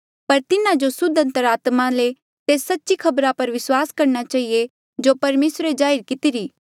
पर तिन्हा जो सुद्ध अंतरात्मा ले तेस सच्ची खबरा पर विस्वास करणा चहिए जो परमेसरे जाहिर कितिरी